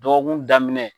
Dɔgɔkun daminɛ